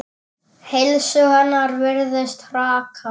Heilsu hennar virðist hraka.